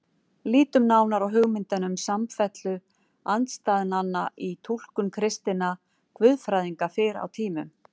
Lítum nánar á hugmyndina um samfellu andstæðnanna í túlkun kristinna guðfræðinga fyrr á tímum.